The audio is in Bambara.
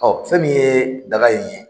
Ɔ fɛn min ye daga in ye